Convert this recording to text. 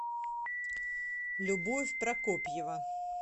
любовь прокопьева